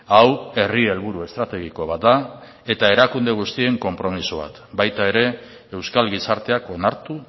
hau herri helburu estrategiko bat da eta erakunde guztien konpromiso bat baita ere euskal gizarteak onartu